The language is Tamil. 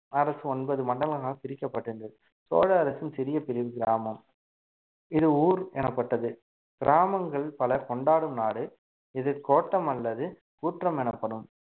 அரசு ஒன்பது மண்டலங்களால் பிரிக்கப்பட்டிருந்தது சோழ அரசின் சிறிய பிரிவு கிராமம் இது ஊர் எனப்பட்டது கிராமங்கள் பலர் கொண்டாடும் நாடு இது கோட்டம் அல்லது கூற்றம் எனப்படும்